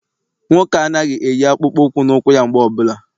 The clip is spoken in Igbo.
Nwoke a anaghị eyi akpụkpọ ụkwụ na ụkwụ ya mgbe ọbụla.